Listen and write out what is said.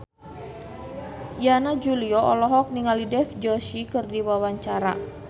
Yana Julio olohok ningali Dev Joshi keur diwawancara